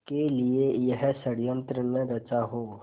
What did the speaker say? के लिए यह षड़यंत्र न रचा हो